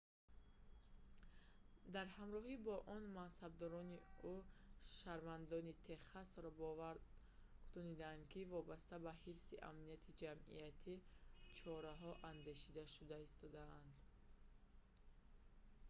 дар ҳамроҳӣ бо он мансабдорон ӯ шаҳрвандони техасро бовар кунонид ки вобаста ба ҳифзи амнияти ҷамъиятӣ чораҳо андешида шуда истодаанд